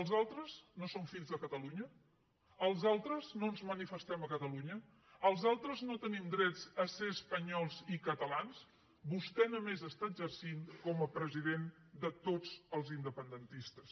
els altres no són fills de catalunya els altres no ens manifestem a catalunya els altres no tenim dret a ser espanyols i catalans vostè només està exercint com a president de tots els independentistes